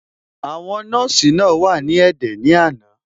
Àwọn nọ́ọ̀sì náà wà ní ẹ̀dẹ̀ ní àná.